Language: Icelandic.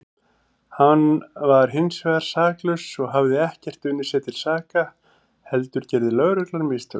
Hann var hinsvegar saklaus og hafði ekkert unnið sér til saka heldur gerði lögreglan mistök.